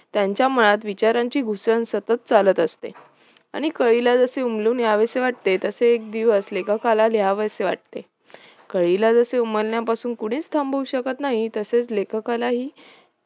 त्यांच्या मनात विचारांची घुसळण सतत चालत असते आणि कळीला जसे उमलून यावेसे वाटते तसे एकदिवस लेखकला लिहावेसे वाटते कळीला जसे उमलण्यापासून कोणीच थांबवू शकत नाही तसेच लेखकलाही